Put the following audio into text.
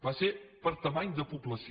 va ser per dimensió de població